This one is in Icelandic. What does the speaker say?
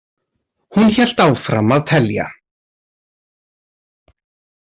Hún hélt áfram að telja.